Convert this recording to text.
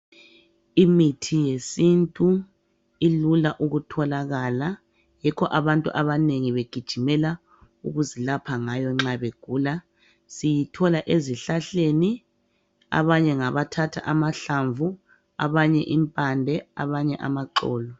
Imithi yesintu ilula ukutholakala. Yikho abantu abanengi begijimela ukuzilapha ngayo nxa begula. Siyithola ezihlahleni. Abanye ngabathatha amahlamvu, abanye impande, abanye amaxolo.